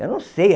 Eu não sei.